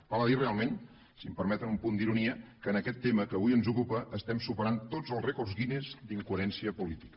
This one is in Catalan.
val a dir realment si em permeten un punt d’ironia que en aquest tema que avui ens ocupa superem tots els rècords guinness d’incoherència política